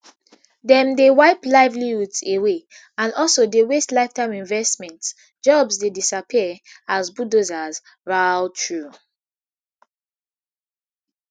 dem dey wipe livelihoods away and also dey waste lifetime investments jobs dey disappear as bulldozers roar thru